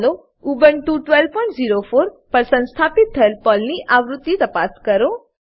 ચાલો ઉબુન્ટુ 1204 પર સંસ્થાપિત થયેલ પર્લની આવૃત્તિ તપાસ કરીએ